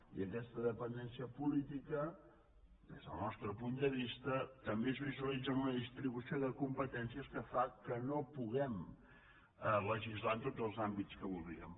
i aquesta dependència política des del nostre punt de vista també es visualitza en una distribució de competències que fa que no pu guem legislar en tots els àmbits que voldríem